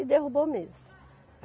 E derrubou mesmo.